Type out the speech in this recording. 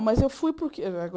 Mas eu fui porque